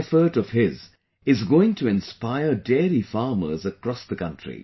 This effort of his is going to inspire dairy farmers across the country